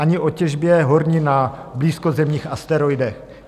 Ani o těžbě hornin na blízkozemních asteroidech.